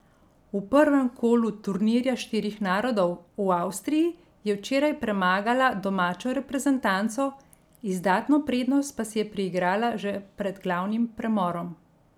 V prvem kolu turnirja štirih narodov v Avstriji je včeraj premagala domačo reprezentanco, izdatno prednost pa si je priigrala že pred glavnim premorom.